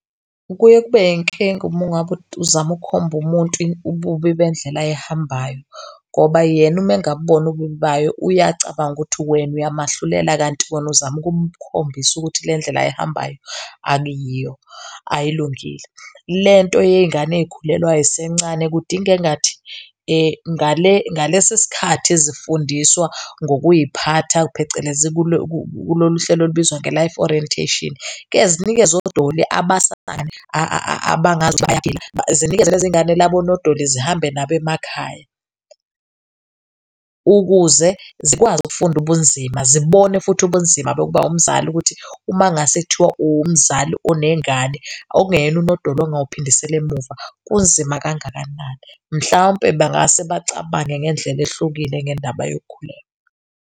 Kuye kube yinkinga uma ngabe uzama ukukhomba umuntu ububi bendlela ayihambayo ngoba yena uma engabuboni ububi bayo, uye acabange ukuthi wena uyamehlulela kanti wena uzama ukumkhombisa ukuthi le ndlela ayihambayo akuyiyo ayilungile. Lento yey'ngane ey'khulelwa zisencane kudinga engathi ngalesi sikhathi zifundiswa ngokuy'phatha phecelezi kulo kuloluhlelo olubizwa nge-Life Orientation kezinikezwe odoli abangathi bayaphila zinikezwe lezi ngane labo nodoli zihambe nabo emakhaya, ukuze zikwazi ukufunda ubunzima. Zibone futhi ubunzima bokuba umzali ukuthi, uma kungase kuthiwa uwumzali onengane okungeyena unodoli ongawuphindisela emuva kunzima kangakanani. Mhlawumpe bangase bacabange ngendlela ehlukile ngendaba yokukhulelwa.